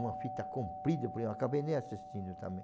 Uma fita comprida, acabei nem assistindo também.